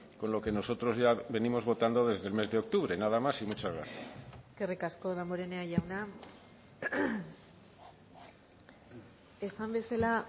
con lo que nosotros ya venimos votando desde el mes de octubre nada más y muchas gracias eskerrik asko damborenea jauna esan bezala